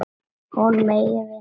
Hún megi vinna á sumrin.